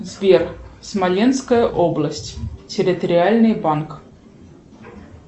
сбер смоленская область территориальный банк